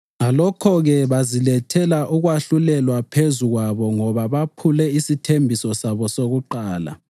Ngalokho-ke, bazilethela ukwahlulelwa phezu kwabo ngoba bephule isithembiso sabo sokuqala.